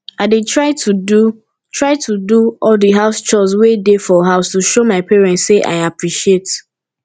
i dey try to do try to do all the house chores wey dey for house to show my parents say i appreciate